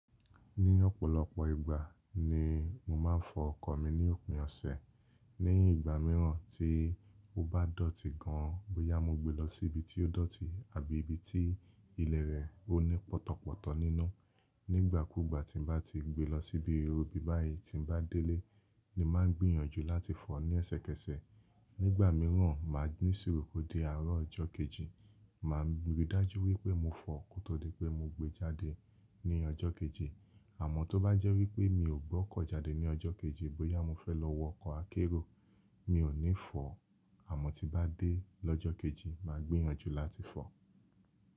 Ní ọ̀pọ̀lọpọ̀ ìgbà ni mo máa ń fọ ọkọ̀ mi ní òpin ọ̀sẹ̀. Ní ìgbà mìíràn tí ó bá dọ̀tí gan, bóyá mo gbé lọ sí ibi tí ó dọ̀tí àbí ibi tí ilẹ̀ rẹ̀ ò ní pọtọ̀pọtọ̀ nínú. Nígbà kúùgbà tí n bá ti gbé lọ síbi ibi báyìí tí n bá délé, ni màá gbìyànjú láti fọ ní ẹ̀sẹkẹ̀sẹ̀ Nígbà mìíràn, máa ní ìṣúrù kó dé àárọ̀ ọjọ́ kejì, màá rí i dájú wípé mo fọ ó kó tó dé pé mo gbé e jáde ní ọjọ́ kejì. Àmọ́ tó bá jẹ́ wípé mi ò gbọ́kọ̀ jáde ní ọjọ́ kejì bóyá mo fẹ́ lọ wọ ọkọ̀ akérò, mi ò ní fọ ọ́. Àmọ́ tí bá dé lọ́jọ́ kejì, màá gbìyànjú láti fọ ọ́.